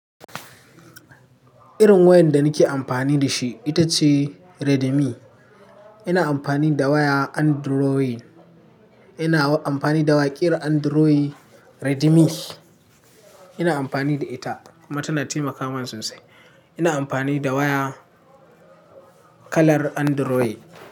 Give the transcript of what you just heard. Irin wayan da nake amfani da shi ita ce Redmi. Ina amfani da waya Android. Ina amfani da waƙe irin Android Redmi. Ina amfani da ita kuma tana taimaka mani sosai. Ina amfani da waya kalar Android.